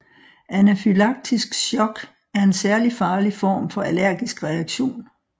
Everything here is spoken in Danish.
Anafylaktisk shock er en særlig farlig form for allergisk reaktion